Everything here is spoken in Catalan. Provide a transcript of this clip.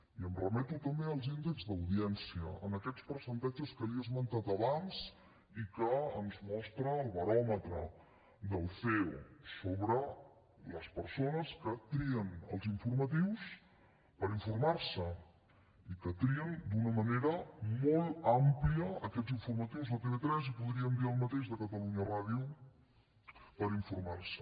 i em remeto també als índexs d’audiència a aquests percentatges que li he esmentat abans i que ens mostra el baròmetre del ceo sobre les persones que trien els informatius per informar se i que trien d’una manera molt àmplia aquests informatius de tv3 i podríem dir el mateix de catalunya ràdio per informar se